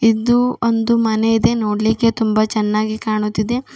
ಇದು ಒಂದು ಮನೆ ಇದೆ ನೋಡ್ಲಿಕ್ಕೆ ತುಂಬಾ ಚೆನ್ನಾಗಿ ಕಾಣುತ್ತಿದೆ.